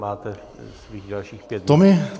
Máte svých dalších pět minut.